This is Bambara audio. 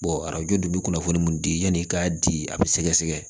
arajo dun bɛ kunnafoni mun di yanni i k'a di a bɛ sɛgɛsɛgɛ